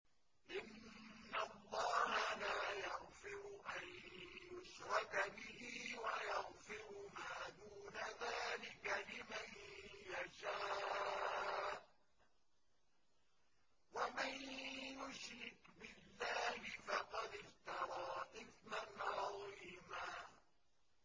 إِنَّ اللَّهَ لَا يَغْفِرُ أَن يُشْرَكَ بِهِ وَيَغْفِرُ مَا دُونَ ذَٰلِكَ لِمَن يَشَاءُ ۚ وَمَن يُشْرِكْ بِاللَّهِ فَقَدِ افْتَرَىٰ إِثْمًا عَظِيمًا